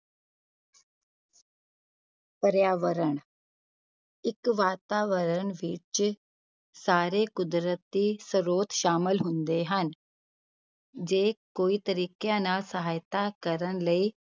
ਪਰਿਆਵਰਣ ਇੱਕ ਵਾਤਾਵਰਨ ਵਿੱਚ ਸਾਰੇ ਕੁਦਰਤੀ ਸਰੋਤ ਸ਼ਾਮਲ ਹੁੰਦੇ ਹਨ ਜੇ ਕੋਈ ਤਰੀਕਿਆਂ ਨਾਲ ਸਹਾਇਤਾ ਕਰਨ ਲਈ